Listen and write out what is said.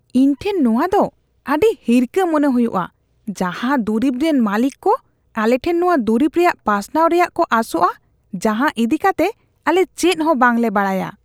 ᱤᱧ ᱴᱷᱮᱱ ᱱᱚᱶᱟ ᱫᱚ ᱟᱹᱰᱤ ᱦᱤᱨᱠᱷᱟᱹ ᱢᱚᱱᱮ ᱦᱩᱭᱩᱜᱼᱟ, ᱡᱟᱦᱟᱸ ᱫᱩᱨᱤᱵ ᱨᱮᱱ ᱢᱟᱹᱞᱤᱠ ᱠᱚ ᱟᱞᱮᱴᱷᱮᱱ ᱱᱚᱶᱟ ᱫᱩᱨᱤᱵ ᱨᱮᱭᱟᱜ ᱯᱟᱥᱱᱟᱣ ᱨᱮᱭᱟᱜ ᱠᱚ ᱟᱥᱚᱜᱼᱟ ᱡᱟᱦᱟᱸ ᱤᱫᱤᱠᱟᱛᱮ ᱟᱞᱮ ᱪᱮᱫ ᱦᱚᱸ ᱵᱟᱝᱞᱮ ᱵᱟᱰᱟᱭᱟ ᱾